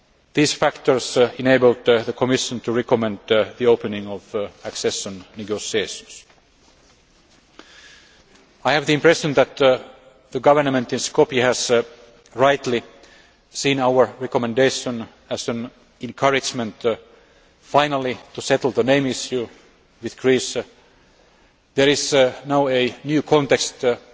These factors enabled the Commission to recommend the opening of accession negotiations. I have the impression that the government in Skopje has rightly seen our recommendation as an encouragement to finally settle the name issue with Greece. There is now a new context,